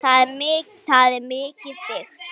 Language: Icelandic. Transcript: Það er mikið byggt.